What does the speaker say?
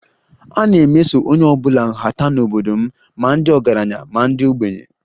A na-emeso onye ọ bụla nhata n'obodo m, ma ndị ọgaranya ma ndị ogbenye